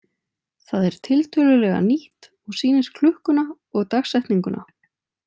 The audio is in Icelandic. Það er tiltölulega nýtt og sýnir klukkuna og dagsetninguna.